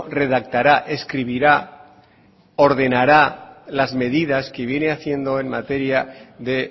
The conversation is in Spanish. redactará escribirá ordenará las medidas que viene haciendo en materia de